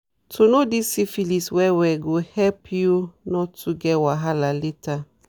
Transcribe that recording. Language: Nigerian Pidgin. to know this syphilis well well go help you not to get wahala later